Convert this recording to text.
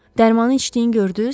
Dərmanı içdiyini gördünüz?